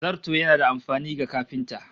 Zarto yana da amfani ga kafinta